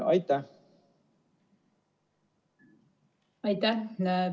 Aitäh!